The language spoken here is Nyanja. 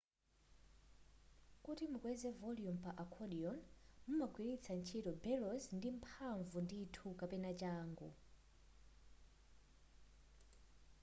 kuti mukweze volume pa accordion umagwiritsa ntchito bellows ndi mphamvu ndithu kapena changu